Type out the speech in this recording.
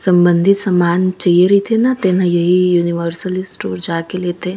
सम्बन्धीत समान चाइये रईथे तेन ह यूनिवर्सल स्टोर जाके लेथे।